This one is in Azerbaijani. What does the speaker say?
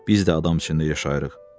Biz də adam içində yaşayırıq.